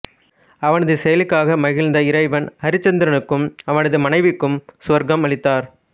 அவனது செயலுக்காக மகிழ்ந்த இறைவன் அரிச்சந்திரனுக்கும் அவனது மனைவிக்கும் சுவர்க்கம் அளித்தார்